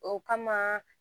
O kama